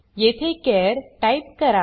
येथे चार टाइप करा